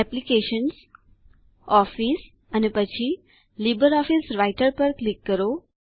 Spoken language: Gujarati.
એપ્લિકેશન્સ ઓફિસ અને પછી લિબ્રિઓફિસ રાઇટર પર ક્લિક કરો